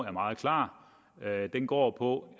er meget klar den går på